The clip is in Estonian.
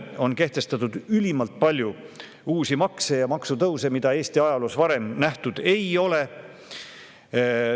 On kehtestatud ülimalt palju uusi makse ja maksutõuse, mida Eesti ajaloos varem nähtud ei ole.